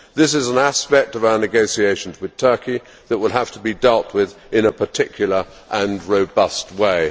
This is an aspect of our negotiations with Turkey that will have to be dealt with in a particular and robust way.